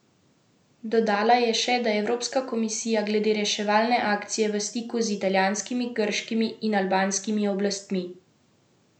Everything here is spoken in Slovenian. Dodala je še, da je Evropska komisija glede reševalne akcije v stiku z italijanskimi, grškimi in albanskimi oblastmi.